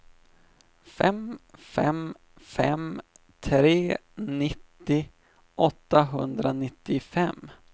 fem fem fem tre nittio åttahundranittiofem